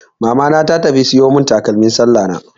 Mamana ta tafi siyo mun takalmin sallah na.